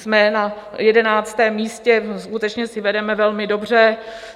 Jsme na 11. místě, skutečně si vedeme velmi dobře.